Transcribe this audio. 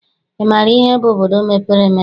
Ị maara ihe bụ obodo mepere emepe?